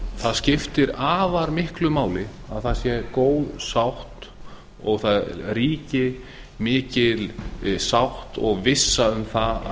það skiptir afar miklu máli að það sé góð sátt og það ríki mikil sátt og vissa um að